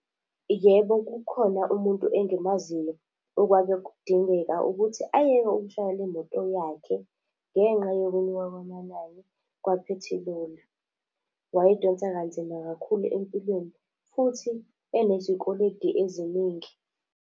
Yebo kukhona umuntu engimaziyo okwake kudingeka ukuthi ayeke ukushayela imoto yakhe, ngenqa yokwenyuka kwamanani kwaphethiloli. Wayeyidonsa kanzima kakhulu empilweni futhi enezikweledi eziningi.